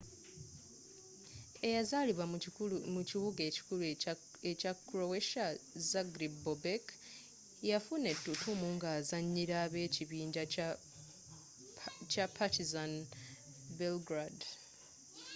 eyazaalibwa mu kibuga ekikulu ekya croatia zagreb bobek yafuna ettutumu ng'azanyira ab'ekibinja kya partizan belgrade